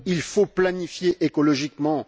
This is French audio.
Il faut planifier écologiquement.